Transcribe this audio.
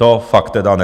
To fakt tedy ne.